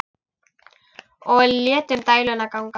Og létum dæluna ganga.